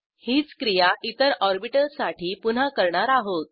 हीच क्रिया इतर ऑर्बिटलसाठी पुन्हा करणार आहोत